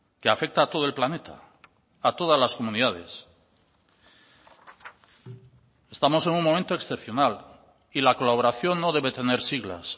que afecta a todo el planeta a todas las comunidades estamos en un momento excepcional y la colaboración no debe tener siglas